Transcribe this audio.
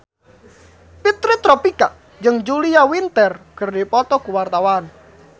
Fitri Tropika jeung Julia Winter keur dipoto ku wartawan